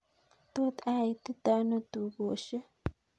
Tot aititono tukoshek